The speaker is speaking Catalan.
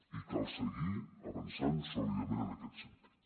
i cal seguir avançant sòlidament en aquest sentit